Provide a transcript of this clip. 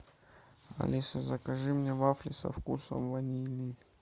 алиса закажи мне вафли со вкусом ванили